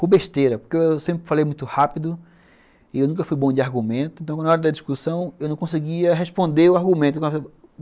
Por besteira, porque eu sempre falei muito rápido e eu nunca fui bom de argumento, então na hora da discussão eu não conseguia responder o argumento.